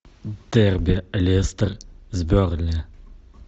дерби лестер с бернли